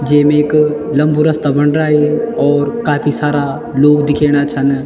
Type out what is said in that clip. जेम एक लम्बू रस्ता बन रा ये और काफी सारा लोग दिखेणा छन।